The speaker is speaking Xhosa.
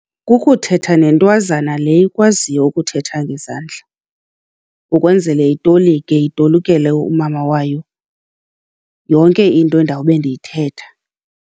Kukuthetha nentwazana le ikwaziyo ukuthetha ngezandla, ukwenzele itolike itolikele umama wayo yonke into endawube ndiyithetha.